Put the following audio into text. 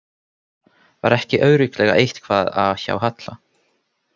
Var ekki örugglega eitthvað að hjá Halla?